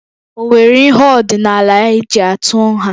Ọ nwere ihe ọdịnala eji atụ nha?